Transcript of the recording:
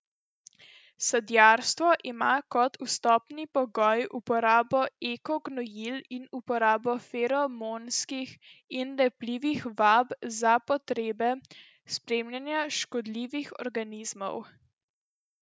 Sadjarstvo ima kot vstopni pogoj uporabo eko gnojil in uporabo feromonskih in lepljivih vab za potrebe spremljanja škodljivih organizmov.